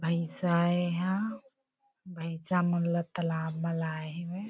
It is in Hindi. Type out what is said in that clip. भइसा ए एहा भइसा मन ल तलाब म लाए हेवय।